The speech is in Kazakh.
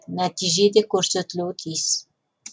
нәтиже де көрсетілуі тиіс